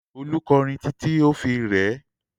Olú kọrin títí ó fi rẹ ẹ́.